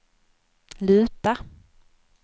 luta